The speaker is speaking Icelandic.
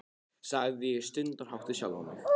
sagði ég stundarhátt við sjálfa mig.